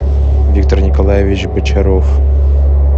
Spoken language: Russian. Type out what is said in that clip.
виктор николаевич бочаров